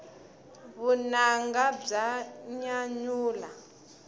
vunanga bya nyanyula